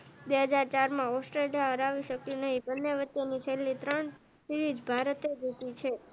બે હાજર ચાર માં ઑસ્ટ્રેલિયા હરાવી શક્યું નઈ બંને વચ્ચે ની છેલ્લી ત્રણ સીરીઝ ભારતે જીતી છે